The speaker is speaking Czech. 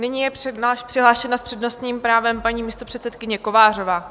Nyní je přihlášena s přednostním právem paní místopředsedkyně Kovářová.